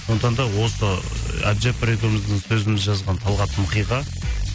сондықтан да осы әбдіжаппар екеуіміздің сөзімізді жазған талғат мұқиға